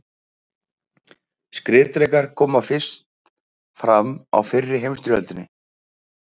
Skriðdrekar komu fyrst fram í fyrri heimsstyrjöldinni.